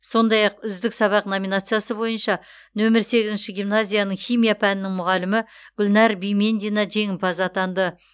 сондай ақ үздік сабақ номинациясы бойынша нөмір сегізінші гимназияның химия пәнінің мұғалімі гүлнәр бимендина жеңімпаз атанды